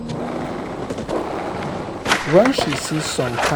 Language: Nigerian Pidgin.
when she see some kain spending wey she no understand for her credit card paper e make her begin suspect.